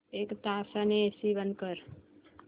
एक तासाने एसी बंद कर